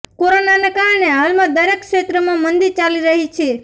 કોરોનાના કારણે હાલમાં દરેક ક્ષેત્રમાં મંદી ચાલી રહી છે